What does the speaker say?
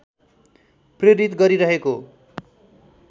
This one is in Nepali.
प्रेरित गरिरहेको